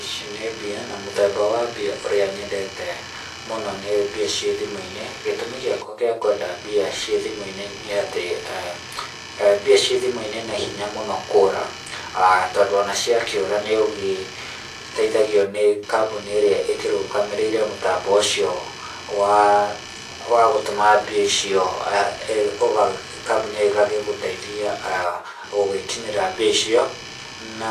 Ici nĩ mbia na mũthemba wa mbia ũrĩa nyendete mũno nĩ mbia ciĩ thimũ-inĩ gĩtũmi gĩakwa gĩa kwenda mbia ciĩ thimũ-inĩ nĩ atĩ mbia ciĩ thimũ-inĩ nĩ hinya mũno kũũra tondũ ona cia kĩũũra nĩ ũgĩteithagio kambuni ĩrĩa ĩkũragamĩrĩire mũtambo ũcio wa wa gũtũma mbia icio kambuni ĩyo ĩgagĩgũteithia gũgĩkinyĩra mbia icio na